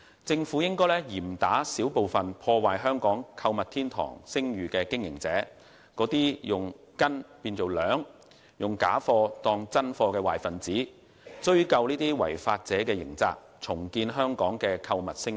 政府要嚴打少數破壞香港購物天堂美譽的經營者，包括以斤變兩、假貨充真貨的壞分子，追究違法者的刑責，重建香港的購物聲譽。